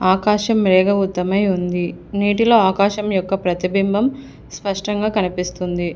ఆకాశం మేఘావృతమై ఉంది నీటిలో ఆకాశం యొక్క ప్రతిబింబం స్పష్టంగా కనిపిస్తుంది.